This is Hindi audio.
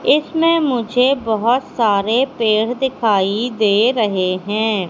इसमें मुझे बहोत सारे पेड़ दिखाई दे रहे हैं।